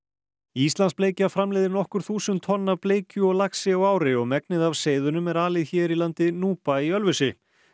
íslandsbleikja framleiðir nokkur þúsund tonn af bleikju og laxi á ári og megnið af seiðunum er alið hér í landi núpa í Ölfusi